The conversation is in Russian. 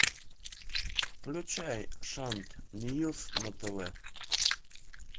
включай шант ньюс на тв